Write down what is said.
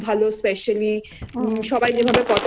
খাবার ভালো অতিথিয়তা খুব ভালো specially